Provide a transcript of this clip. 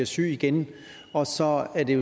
syg igen og så er det